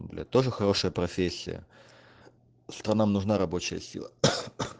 бля тоже хорошая профессия что нам нужна рабочая сила